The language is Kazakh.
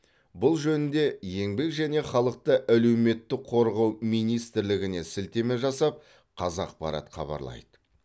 бұл жөнінде еңбек және халықты әлеуметтік қорғау министрлігіне сілтеме жасап қазақпарат хабарлайды